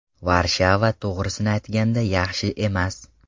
Varshava: To‘g‘risini aytganda, yaxshi emas.